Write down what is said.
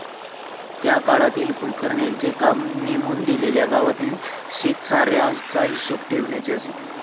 त्या काळातील कुलकर्ण्यांचे काम नेमून दिलेल्या गावातील शेतसाऱ्याचा हिशोब ठेवण्याचे असे.